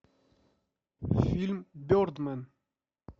фильм бердмэн